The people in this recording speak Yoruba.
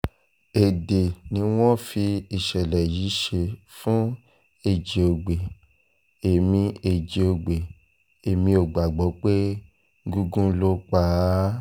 èdè ni wọ́n fi ìṣẹ̀lẹ̀ yìí ṣe fún ẹjíògbè èmi ẹjíògbè èmi ò gbàgbọ́ pé gúngun ló pa á o